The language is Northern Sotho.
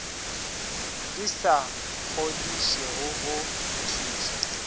di sa kgodišego go tlišwe